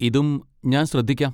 ഇതും ഞാൻ ശ്രദ്ധിക്കാം.